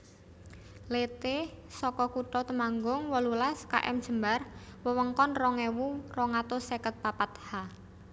Leté saka Kutha Temanggung wolulas Km Jembar wewengkon rong ewu rong atus seket papat Ha